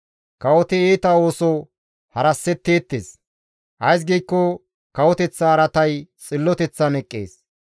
Kawoti iita ooso harassetteettes; ays giikko kawoteththa araatay xilloteththan eqqees.